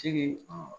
Sigi